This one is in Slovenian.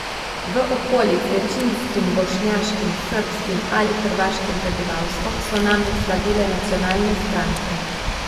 V okoljih z večinskim bošnjaškim, srbskim ali hrvaškim prebivalstvom so namreč slavile nacionalne stranke.